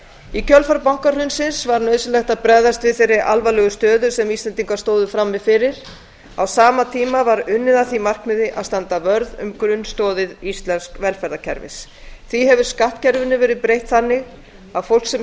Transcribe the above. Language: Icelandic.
í kjölfar bankahrunsins var nauðsynlegt að bregðast við þeirri alvarlegu stöðu sem íslendingar stóðu frammi fyrir á sama tíma var unnið að því markmiði að standa vörð um grunnstoðir íslensks velferðarkerfis því hefur skattkerfinu verið breytt þannig að fólk sem